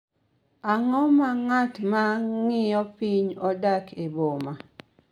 Ang�o ma ng�at ma ng�iyo piny odak e boma?